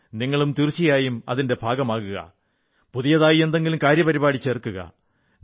നിങ്ങളും തീർച്ചയായും ഇതിന്റെ ഭാഗമാകുക പുതിയതായി എന്തെങ്കിലും കാര്യപരിപാടി ചേർക്കുക